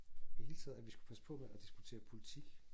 I det hele taget at vi skulle passe på med at diskutere politik